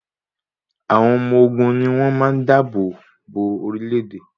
Àwọn ọmọ ogun ni wn máa da àbò bo orílẹ́-èdè.